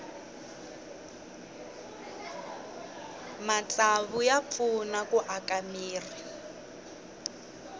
matsavu ya pfuna ku aka mirhi